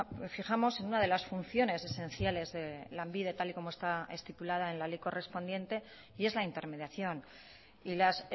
fijamos en una de las funciones esenciales de lanbide tal y como está estipulada en la ley correspondiente y es la intermediación y las